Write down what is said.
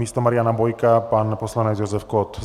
Místo Mariana Bojka pan poslanec Josef Kott.